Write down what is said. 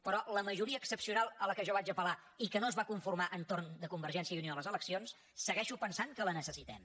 però la majoria excepcional a què jo vaig apel·lar i que no es va conformar entorn de convergència i unió a les eleccions segueixo pensant que la necessitem